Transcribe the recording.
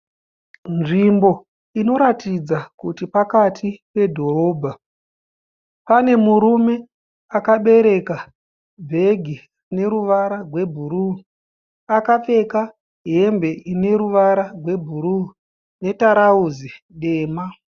Nzvimbo inoratidzika kuti pakati pedhorobha. Pane murume akabereka bhegi rine ruvara rwebhuruu. Akapfeka hembe ine ruvara rwebhuruu netarauzi dema.